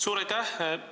Suur aitäh!